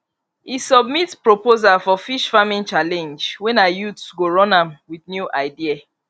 e submit proposal for fish farming challenge wey na youth go run am with new idea